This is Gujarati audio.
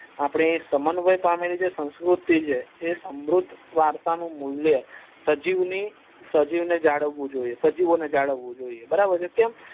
આપડે પામેલી જે સંસ્કૃતિ જે છે એ સમુદ્ધ વારસા નું મુલ્ય સજીવ ની સજીવો ને જાળવું જોઈએ બરાબર છે કેમ